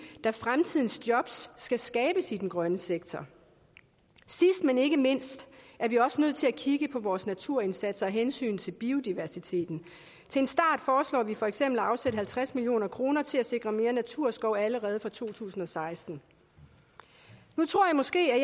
da fremtidens jobs skal skabes i den grønne sektor sidst men ikke mindst er vi også nødt til at kigge på vores naturindsats af hensyn til biodiversiteten til en start foreslår vi for eksempel at afsætte halvtreds million kroner til at sikre mere naturskov allerede fra to tusind og seksten nu tror i måske at